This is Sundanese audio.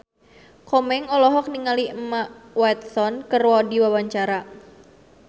Komeng olohok ningali Emma Watson keur diwawancara